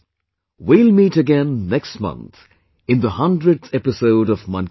We will meet again next month in the 100th episode of Mann Ki Baat